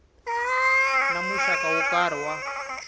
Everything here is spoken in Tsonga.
na muxaka wo karhi wa